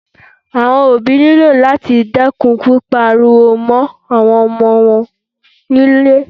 Àwọn òbí ní lò láti dẹ́kun pípá ariwo mọ́ àwọn ọmọ wọn ní ilé